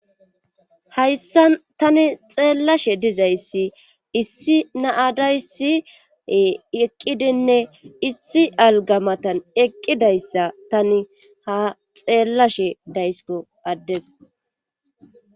hayssa tani xeellashe dizayssi issi naadayssi eqqidinne issi algamatan eqqidayssa tani ha xeellashe daysko addezo